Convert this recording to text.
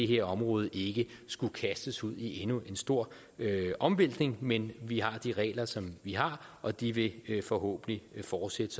her område ikke skulle kastes ud i endnu en stor omvæltning men vi har de regler som vi har og de vil forhåbentlig fortsætte